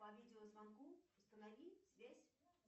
по видеозвонку установи связь